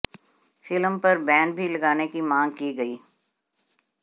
film पर ban भी लगाने की मांग की गई